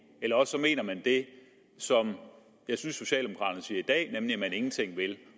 eller også mener man det som jeg synes socialdemokraterne siger i dag nemlig at man ingenting vil